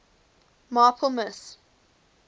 marple miss